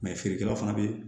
feerekɛlaw fana bɛ